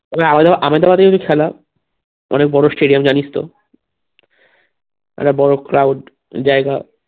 আরো ধর আমাদের মাঠে এই যে খেলা অনেক বড়ো stadium জানিস তো অনেক বড়ো crowed জায়গা